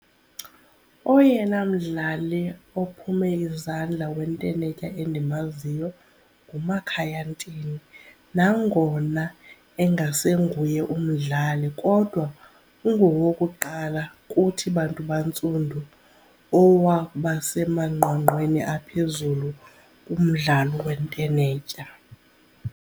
Oyena mdlali ophume izandla wentenetya endimaziyo nguMakhaya Ntini nangona engasenguye umdlali kodwa ungowokuqala kuthi bantu bantsundu owakuba semanqwanqweni aphezulu kumdlalo wentenetya.